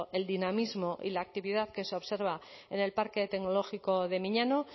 el dinamismo y la actividad que se observa en el parque tecnológico de miñano